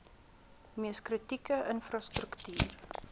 mees kritieke infrastruktuur